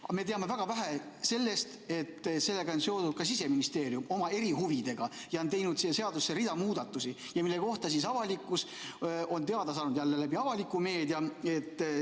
Aga me teame väga vähe sellest, et sellega on seotud ka Siseministeerium oma erihuvidega ja ta on teinud siia seadusesse hulga muudatusi, millest avalikkus on teada saanud jälle läbi avaliku meedia.